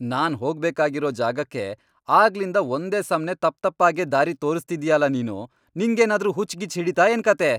ನಾನ್ ಹೋಗ್ಬೇಕಾಗಿರೋ ಜಾಗಕ್ಕೆ ಆಗ್ಲಿಂದ ಒಂದೇ ಸಮ್ನೇ ತಪ್ತಪ್ಪಾಗೇ ದಾರಿ ತೋರಿಸ್ತಿದೀಯಲ ನೀನು! ನಿಂಗೇನಾದ್ರೂ ಹುಚ್ಚ್ ಗಿಚ್ಚ್ ಹಿಡೀತಾ ಏನ್ಕಥೆ?